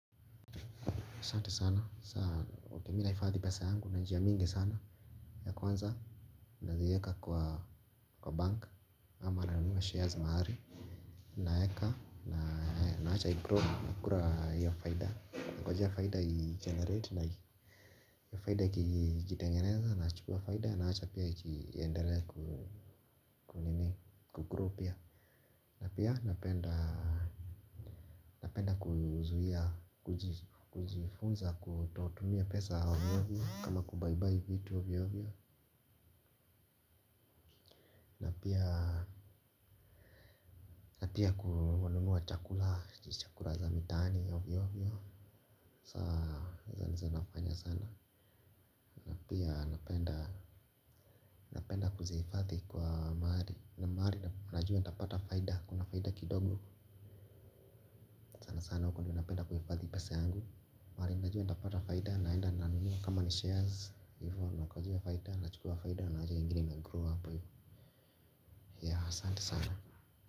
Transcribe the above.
Sante sana sana mimi na hifadhi pesa yangu na njia mingi sana ya kwanza na zieka kwa bank ama ranunua shares maari. Na eka na naacha i-grow na kura ya faida na kwa jia faida i-generate na hii ya faida ikitengeneza na chukua faida ya naacha pia i-enderea ku nini ku-grow pia. Napia napenda napenda kujifunza kutotumia pesa ovyo ovyo kama kubaibai vitu ovyo ovyo. Napia kuwanunua chakula chakula za mitaani ovyo ovyo. Saa zanifanya sana. Napia napenda napenda kuzihifathi kwa mari. Na mari najua natapata faida kuna faida kidogo kwasana huko dio napenda kuhifathi pesa yangu. Mahari najua ntapata faida naenda nanunua kama ni shares. Na ngojea faida, na chukua faida, na waja hio ingine inagrow happ, ya hasanti sana.